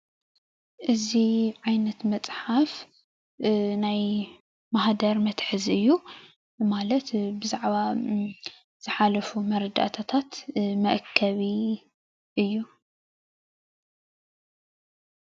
እዚ ዓይነት መፅሓፍ ናይ ማህደር መትሓዚ እዩ ማለት ብዛዕባ ዝሓለፉ መረዳእታታት መአከቢ እዩ፡፡